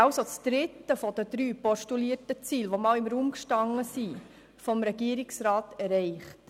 Wir haben also das dritte der drei vom Regierungsrat postulierten Ziele erreicht, die einst im Raum standen.